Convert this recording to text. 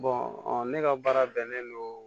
ne ka baara bɛnnen don